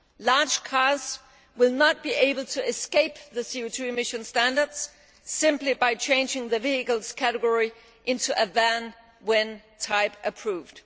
Large cars will not be able to escape the CO 2 emission standards simply by changing the vehicle's category to van' when type approved.